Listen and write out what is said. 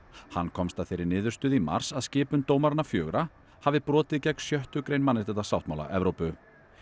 hann komst að þeirri niðurstöðu í mars að skipun dómaranna fjögurra hafi brotið gegn sjöttu grein mannréttindasáttmála Evrópu